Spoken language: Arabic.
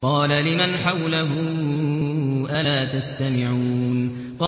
قَالَ لِمَنْ حَوْلَهُ أَلَا تَسْتَمِعُونَ